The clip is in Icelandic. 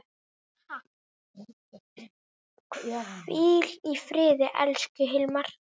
Hvíl í friði, elsku Hilmar.